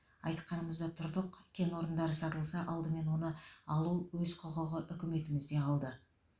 айтқанымызда тұрдық кен орындары сатылса алдымен оны алу өз құқығы үкіметімізде қалды